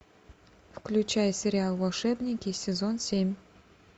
включай сериал волшебники сезон семь